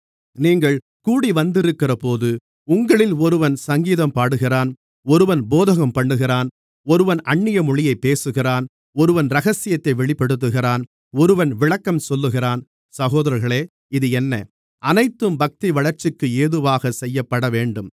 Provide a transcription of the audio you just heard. நீங்கள் கூடிவந்திருக்கிறபோது உங்களில் ஒருவன் சங்கீதம் பாடுகிறான் ஒருவன் போதகம் பண்ணுகிறான் ஒருவன் அந்நிய மொழியைப் பேசுகிறான் ஒருவன் இரகசியத்தை வெளிப்படுத்துகிறான் ஒருவன் விளக்கம் சொல்லுகிறான் சகோதரர்களே இது என்ன அனைத்தும் பக்திவளர்ச்சிக்கேதுவாகச் செய்யப்படவேண்டும்